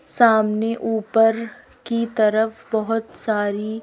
सामने ऊपर की तरफ बहुत सारी--